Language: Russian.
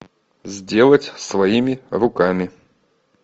сделать своими руками